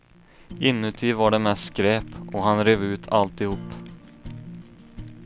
Inuti var det mest skräp, och han rev ut alltihop.